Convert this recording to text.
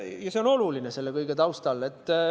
Ja see on oluline selle kõige taustal.